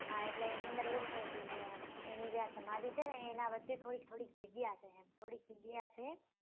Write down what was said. હા એટલે એની અંદર એવું છે કે એની જ્યાં સમાધિ છે એના વચે થોડીક થોડીક જગ્યા છે એમ થોડીક જગ્યા છે